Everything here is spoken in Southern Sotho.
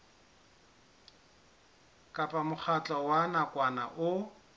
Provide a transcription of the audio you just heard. kapa mokgatlo wa nakwana o